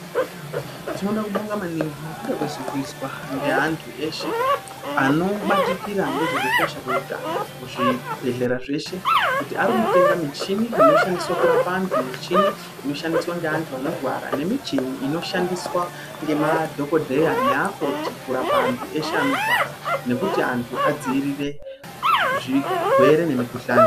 Tinoda kubonga maningi ngekuda kwezviri kuizwa ngeanthu eshe anobatikira ngezvekukosha kweutano muzvibhedhlera zveshe kuti arikutenga mishini inoshandiswa kurapa anthu mishini inoshandiswa ngeanthu anorwa nemichini inoshandiswa ngemadhokodheya neakoti kurapa anthu eshe anorwara nekuti anthu adziirire zvirwere nemikuhlani.